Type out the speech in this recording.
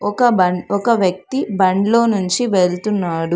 ఒక బన్ ఒక వ్యక్తి బండ్లో నుంచి వెళ్తున్నాడు.